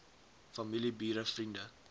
familie bure vriende